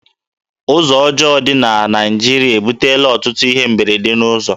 Ụzọ ọjọọ dị na Naịjirịa ebutela ọtụtụ ihe mberede n'ụzọ